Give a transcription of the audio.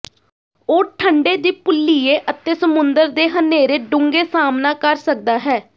ਉਹ ਠੰਡੇ ਦੀ ਭੁੱਲੀਏ ਅਤੇ ਸਮੁੰਦਰ ਦੇ ਹਨੇਰੇ ਡੂੰਘੇ ਸਾਮ੍ਹਣਾ ਕਰ ਸਕਦਾ ਹੈ